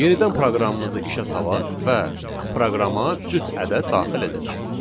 Yenidən proqramımızı işə salaq və proqrama cüt ədəd daxil edək.